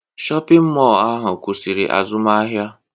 Shọpịn mọọ ahụ kwụsịrị azụmahịa